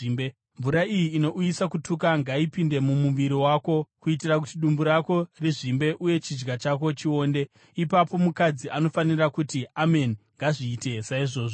Mvura iyi inouyisa kutuka ngaipinde mumuviri wako kuitira kuti dumbu rako rizvimbe uye chidya chako chionde.” “ ‘Ipapo mukadzi anofanira kuti, “Ameni. Ngazviite saizvozvo.”